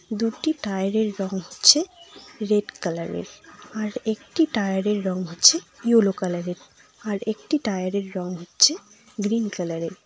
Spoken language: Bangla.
দুটি টায়ারের রং হচ্ছে রেড কালারের আর একটি টায়ারের রং হচ্ছে ইয়েলো কালারের আর একটি টায়ারের রং হচ্ছে গ্রীন কালারের ।